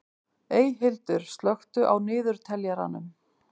Eyhildur, slökktu á niðurteljaranum.